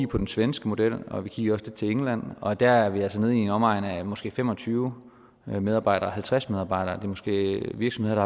på den svenske model og vi kiggede også lidt til england og der er vi altså nede i omegnen af måske fem og tyve medarbejdere halvtreds medarbejdere og måske virksomheder